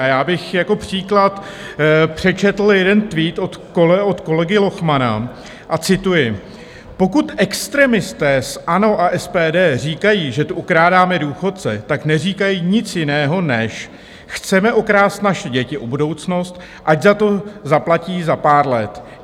A já bych jako příklad přečetl jeden tweet od kolegy Lochmana a cituji: "Pokud extremisté z ANO a SPD říkají, že tu okrádáme důchodce, tak neříkají nic jiného, než chceme okrást naše děti o budoucnost, ať za to zaplatí za pár let.